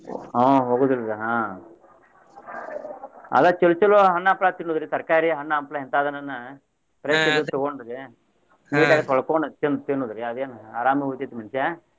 ಆಹ್ ಹೋಗುದಿಲ್ರಿ ಆಹ್ ಅವಾಗ ಚಲೋ ಚಲೋ ಹಣ್ಣ ಹಂಪಲಾ ತಿನ್ನುದ್ರಿ ತರ್ಕಾರಿ ಹಣ್ಣ ಹಂಪಲಾ ಇಂತಾದನ್ನ ಹಣ್ಣ fresh ಇರುದ್ ತಗೊಂಡ್ರೆ neat ಆಗಿ ತೊಳಕೊಂಡ್ ತಿನ್ನುದ್ರಿ ಅದೇನ್ ಅರಾಮ್ ಉಳಿತೇತಿ ಮನಷಾ.